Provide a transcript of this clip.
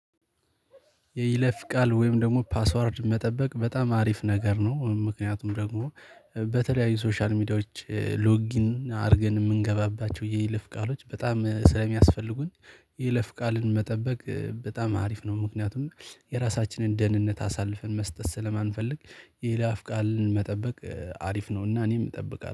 የይለፍ ቃል ወይም ደግሞ ፓስወርድ መጠበቅ በጣም አሪፍ ነገር ነው። ምክንያቱም ደግሞ በተለያዩ ሶሻል ሚዲያዎች ሎጊን አድርገን የምንገባባቸው የይለፍ ቃሎች በጣም ስለሚያስፈልጉን። የለፍ ቃልን መጠበቅ በጣም አሪፍ ነው። ምክንያቱም የራሳችንን ደህንነት አሳልፈን መስጠት ስለማንፈልግ የላፍ ቃልን መጠበቅ አሪፍ ነውና እኔም እጠብቃለሁ